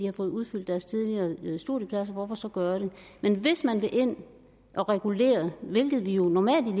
har fået udfyldt deres studiepladser hvorfor så gøre det men hvis man vil ind og regulere hvilket vi jo normalt